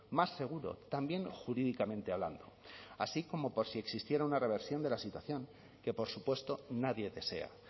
más seguro también jurídicamente hablando así como por si existiera una reversión de la situación que por supuesto nadie desea